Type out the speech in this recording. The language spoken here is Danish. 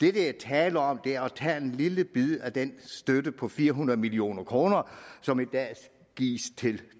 er tale om er at tage en lille bid af den støtte på fire hundrede million kr som i dag gives til